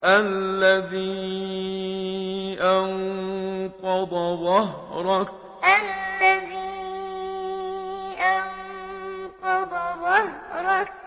الَّذِي أَنقَضَ ظَهْرَكَ الَّذِي أَنقَضَ ظَهْرَكَ